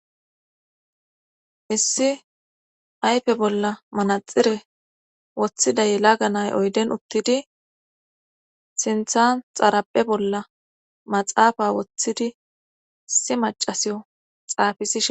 issi ayfe bolla manaxire woththida yelaga nay oyden uttidi sinthan xarape bolla maxaafa woththidi si macasiyo xaafisishen